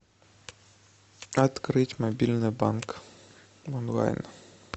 открыть мобильный банк онлайн